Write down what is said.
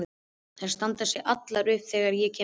Þær standa allar upp þegar ég kem inn.